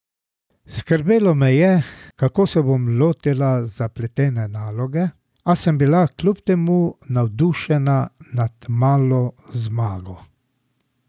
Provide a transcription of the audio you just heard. Skrbelo me je, kako se bom lotila zapletene naloge, a sem bila kljub temu navdušena nad malo zmago.